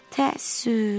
Təəssüf.